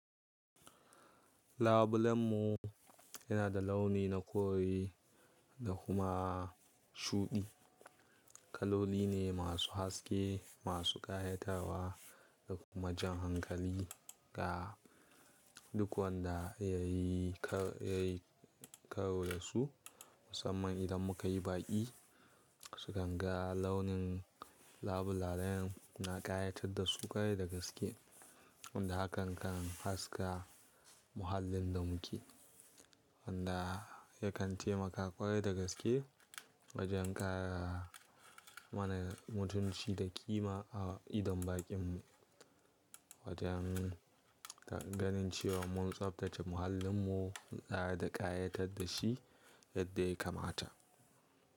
Labulen mu yana da launi na kore da kuma shuɗi. Kaloli ne masu haske, masu ƙayatarwa da kuma jan hankali ga duk wanda ya yi karo da su. Musamman idan muka yi baƙi, su kan ga launin labulalen mu na ƙayatar da su ƙwarai da gaske. Wanda hakan kan haska muhallin da muke. Wanda yakan taimaka ƙwarai da gaske wajen ƙara mana mutunci da ƙima a idon baƙin mu. Wajen ganin cewa mun tsabtace muhallin mu da ƙayatar da shi yadda ya kamata.